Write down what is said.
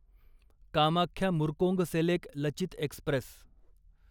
Kamakhya Murkongselek Lachit Express